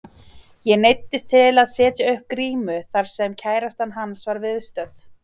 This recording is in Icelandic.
Ég neyddist til að setja upp grímu þar sem kærastan hans var viðstödd.